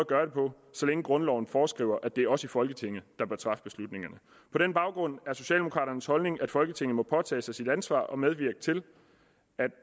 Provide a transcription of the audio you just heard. gøre det på så længe grundloven foreskriver at det er os i folketinget der bør træffe beslutningerne på den baggrund er socialdemokraternes holdning at folketinget må påtage sig sit ansvar og medvirke til at